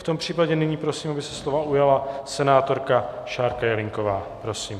V tom případě nyní prosím, aby se slova ujala senátorka Šárka Jelínková, prosím.